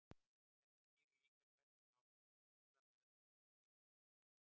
þetta skýrir líka hvers vegna okkur gengur illa að kitla okkur sjálf